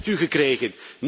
u? Wat heeft u gekregen?